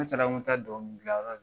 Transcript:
Ne taara n ko mi taa dɔnkili gilan yɔrɔ